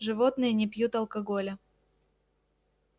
животные не пьют алкоголя